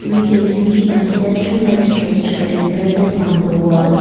we can see a statue like structure embedded on the wall.